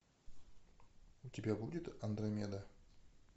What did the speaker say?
у тебя будет андромеда